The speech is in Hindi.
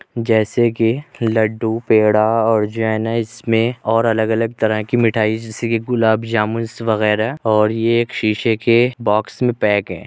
जैसे कि लड्डू पेड़ा और जैनेस में और अलग- अलग तरह की मिठाई जैसे कि गुलाब जामुन्स वैगेरह और ये एक शीशे के बॉक्स में पैक है।